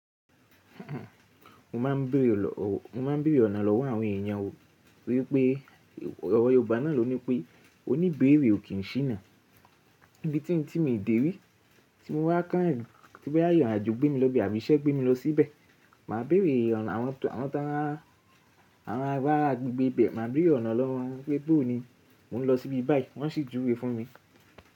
Mo máa ń bèrè ọ̀nà lọ́wọ́ àwọn èèyàn wo wípé, ọ̀rọ̀ Yorùbá náà ló ní pé oní bèrè ò kí n sí nà. Ibi tí ń tí mo dé rí, tí mo bá kàn ì, tí bá yà ìrànàjò gbé mi lọ ibi àbí iṣẹ́ gbé mi lọ síbẹ̀, màá bèrè àwọn tó mọ́ ara gbígbé ibẹ̀, màá bèrè ọ̀nà lọ́wọ́ wọn wípé bó ni mò ń lọ sí ibi báyìí wọ́n sì júwe fún mi.